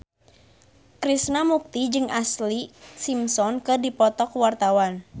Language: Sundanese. Krishna Mukti jeung Ashlee Simpson keur dipoto ku wartawan